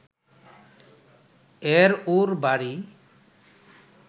এর ওর বাড়ি